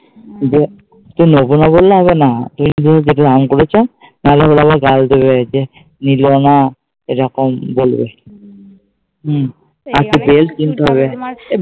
এই যে তুমি মুখে না বললে হবেনা। আমি তো বলছি তাহলে ওরা ও এরকম বলবে